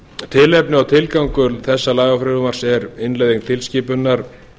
tilefni og tilgangur þessa lagafrumvarps er innleiðing tilskipunar